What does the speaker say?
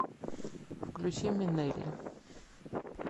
включи минелли